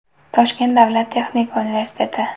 Toshkent davlat texnika universiteti.